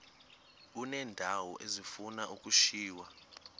uneendawo ezifuna ukushiywa